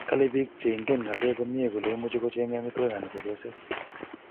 Kale bik cheingen kalek komye kole imuchi kochenge amitwokiki anan chepyoset